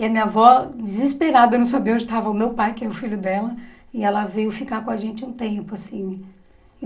E a minha avó, desesperada, não sabia onde estava o meu pai, que é o filho dela, e ela veio ficar com a gente um tempo assim.